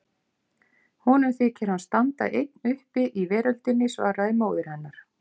Honum þykir hann standa einn uppi í veröldinni, svaraði móðir hennar.